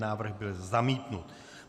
Návrh byl zamítnut.